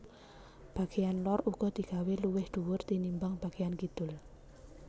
Bageyan lor uga digawé luwih dhuwur tinimbang bageyan kidul